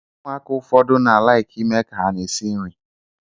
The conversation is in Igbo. Ụmụaka ụfọdụ na-alaikị ime ka hà na-esi nri.